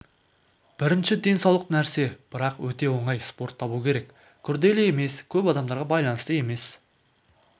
бірінші денсаулық нәрсе бірақ өте оңай спорт табу керек күрделі емес көп адамдарға байланысты емес